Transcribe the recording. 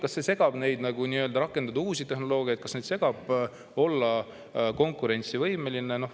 Kas see segab neid, et nad ei saa rakendada uut tehnoloogiat, või kas see ei lase neil olla konkurentsivõimeline?